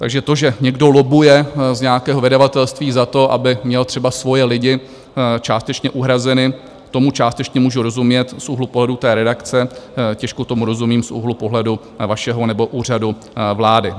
Takže to, že někdo lobbuje z nějakého vydavatelství za to, aby měl třeba svoje lidi částečně uhrazeny, tomu částečně můžu rozumět z úhlu pohledu té redakce, těžko tomu rozumím z úhlu pohledu vašeho nebo Úřadu vlády.